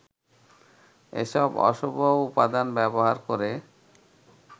এসব অশুভ উপাদান ব্যবহার করে